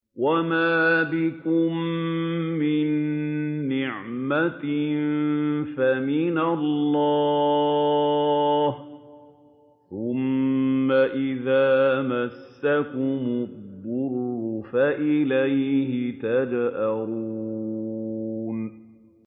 وَمَا بِكُم مِّن نِّعْمَةٍ فَمِنَ اللَّهِ ۖ ثُمَّ إِذَا مَسَّكُمُ الضُّرُّ فَإِلَيْهِ تَجْأَرُونَ